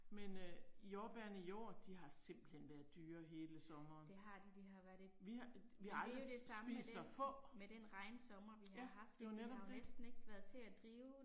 Men øh jordbærene i år de har simpelthen været dyre hele sommeren. Vi har vi har aldrig spist så få. Ja, det er jo netop det